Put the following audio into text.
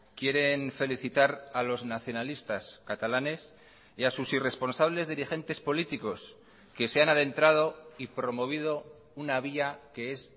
quieren felicitar a los nacionalistas catalanes y a sus irresponsables dirigentes políticos que se han adentrado y promovido una vía que es